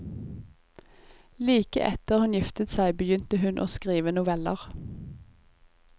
Like etter hun giftet seg begynte hun å skrive noveller.